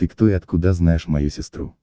диктуй откуда знаешь мою сестру